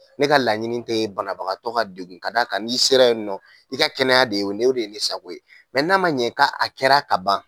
Ne ka laɲini te banabagatɔ ka degun k'a d'a kan n'i sera yen nɔ i ka kɛnɛya de y'o ne o de ye ne sago ye, n'a ma ɲɛ k'a a kɛra ka ban